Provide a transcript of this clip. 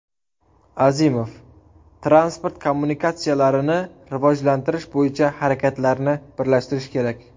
Azimov: transport kommunikatsiyalarini rivojlantirish bo‘yicha harakatlarni birlashtirish kerak.